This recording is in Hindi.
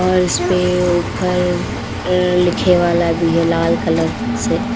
और इसपे ऊपर अं लिखे वाला भी है लाल कलर से।